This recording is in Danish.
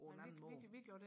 på en anden måde